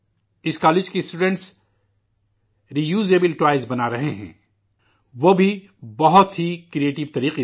اس college کے طلباء دوبارہ استعمال شدہ کھلونا بنا رہے ہیں، وہ بھی بہت ہی تخلیقی طریقے سے